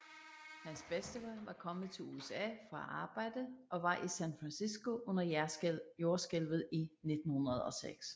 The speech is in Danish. Hans bedstefar var kommet til USA for at arbejde og var i San Francisco under jordskælvet i 1906